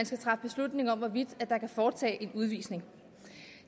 skal træffe beslutning om hvorvidt der kan foretages en udvisning